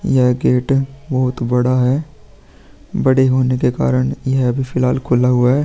यह गेट बहुत बड़ा है। बड़े होने के कारण ये अभी फिलहाल खुला हुआ है।